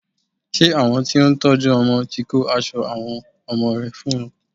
Ṣé àwọn tí ó ń tọ́jú ọmọ ti kó aṣọ àwọn ọmọ rẹ fún ọ?